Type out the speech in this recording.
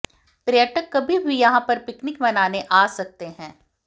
पर्यटक कभी भी यहाँ पर पिकनिक मनाने आ सकते हैं